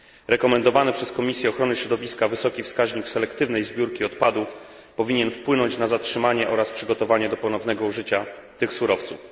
Rekomendowany przez Komisję Ochrony Środowiska wysoki wskaźnik selektywnej zbiórki odpadów powinien wpłynąć na zatrzymanie oraz przygotowanie do ponownego użycia tych surowców.